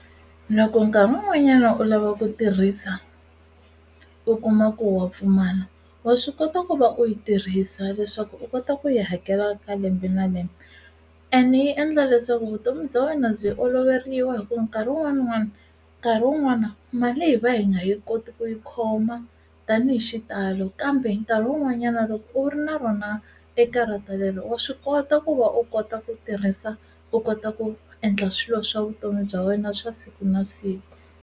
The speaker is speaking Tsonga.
Loko nkarhi wun'wanyana u lava ku tirhisa u kuma ku wa pfumala wa swi kota ku va u yi tirhisa leswaku u kota ku yi hakela ka lembe na lembe ene yi endla leswaku vutomi bya wena byi oloveriwa hi ku nkarhi wun'wani n'wani nkarhi wun'wana mali hi va hi nga yi koti ku yi khoma tani hi xitalo kambe nkarhi wun'wanyana loko u ri na rona ekarata leri wa swi kota ku va u kota ku tirhisa u kota ku endla swilo swa vutomi bya wena swa siku na siku.